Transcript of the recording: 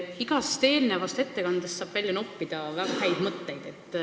Igast eelnevast ettekandest saab välja noppida väga häid mõtteid.